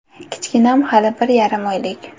Kichkinam hali bir yarim oylik.